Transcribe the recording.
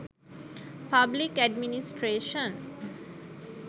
public administration